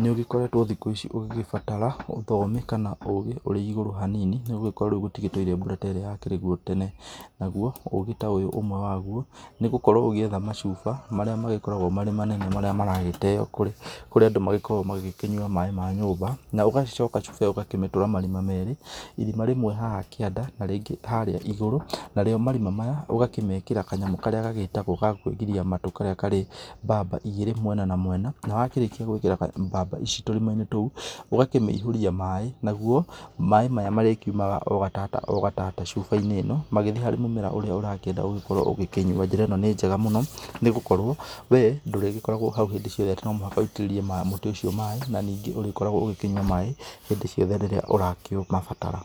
nĩbũgĩkoretwo thikũ ici ugĩgĩbatara ũthomi kana ũgĩ ũrĩ igũrũ hanini. Nĩ gũgĩkorwo rĩu gũtigĩtũire mbura ta ĩrĩa yakĩrĩguo tene. Naguo, ũgĩ ta ũyũ ũmwe waguo, nĩ gũkorwo ũgĩetha macuba, marĩa magĩkoragwo marĩ manene marĩa maragĩteo kũrĩ, kũrĩ Andũ magĩkoragwo magĩgĩkĩnyua maĩ ma nyũmba. Na ũgagĩcoka cuba ĩo ũgagĩkĩmĩtũra marima merĩ, irima rĩmwe haha kĩanda, na rĩngĩ harĩa igũrũ. Narĩo marima maya, ũgakĩmekĩra kanyamũ karĩa gagĩtagwo ga kwĩgiria matũ karĩa karĩ mbamba igĩrĩ mwena na mwena. Na wakĩrĩkia gũgĩkĩra mbamba ici tũrima-inĩ tũu, ũgakĩmĩihũria maĩ. Naguo, maĩ maya marĩkiumaga o gatata o gatata cubainĩ ĩno magĩthie harĩ mũmera ũrĩa ũrakĩenda ũgĩkorwo ũgĩkĩnyua. Njĩra ĩno nĩ njega mũno, nĩgũkorwo we ndũrĩgĩkoragwo hau hindĩ ciothe, atĩ no mũhaka ũitĩrĩrie mũti ũcio maĩ, na ningĩ ũrikoragwo ũgĩkĩnyua maĩ hĩndĩ ciothe rĩrĩa ũrakĩũmabatara.